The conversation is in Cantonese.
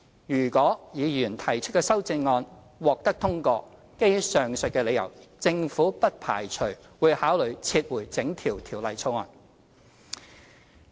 如果議員提出的修正案獲得通過，基於上述理由，政府不排除會考慮撤回整項《條例草案》。